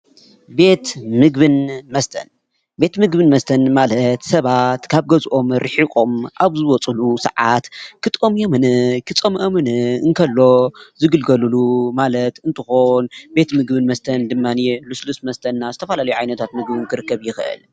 ቤት ምግብን መስተን፦ ቤት ምግብን መስተን ማለት ሰባት ካብ ገዘኦም ሪሒቆም ኣብ ዝወፅሉ ሰዓት ክጠምዮምን ክፀምኦምን እንከተሎ ዝግልገልሉ ማለት እንትኮን ቤት ምግብን መስተን ድማኒየ ሉስሉስ መስተን ዝተፈላለዩ ዓይነታት ምግቢ ደማ ክርከብ ይክእል።